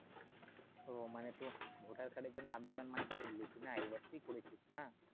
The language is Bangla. তো মানে তো ভোটার কার্ডের জন্য আবেদন মানে করলি কিনা এই বৎসরই করেছিস হ্যাঁ?